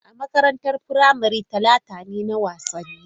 A makarantar firamare ta, Talata ne na wasanni.